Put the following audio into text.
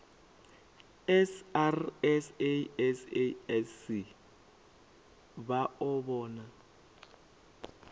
srsa sasc vha o vhona